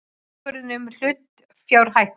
Ákvörðun um hlutafjárhækkun.